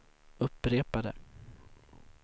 upprepade